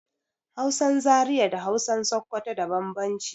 Hausan Zaria da Hausan Sokoto da bambamci